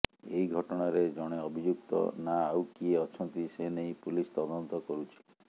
ଏହି ଘଟଣାରେ ଜଣେ ଅଭିଯୁକ୍ତ ନା ଆଉ କିଏ ଅଛନ୍ତି ସେ ନେଇ ପୁଲିସ ତଦନ୍ତ କରୁଛି